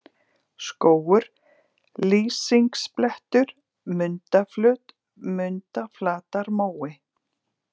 Skógur, Lýsingsblettur, Mundaflöt, Mundaflatarmói